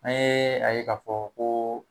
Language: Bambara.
An ye a ye k'a fɔ ko